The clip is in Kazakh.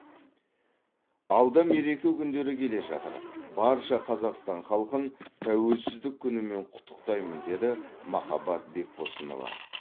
алда мереке күндері келе жатыр барша қазақстан халқын тәуелсіздік күнімен құттықтаймын деді махаббат бекбосынова